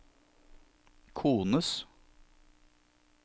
kones